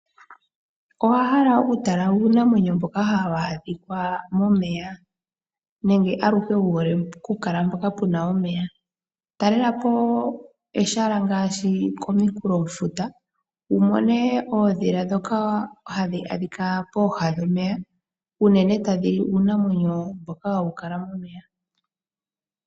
Owa hala okutala uunamwenyo mboka hawu adhika momeya nenge aluhe wu hole okukala mpoka pu na omeya, talela po ehala ngaashi komunkulofuta wu mone oondhila ndhoka hadhi adhika pooha dhomeya, tadhi li uunamwenyo mboka ha wu kala momeya.